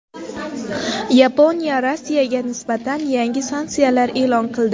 Yaponiya Rossiyaga nisbatan yangi sanksiyalar e’lon qildi.